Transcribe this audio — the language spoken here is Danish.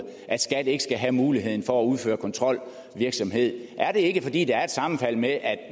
at skat ikke skal have muligheden for at udføre kontrolvirksomhed er det ikke fordi der er et sammenfald med at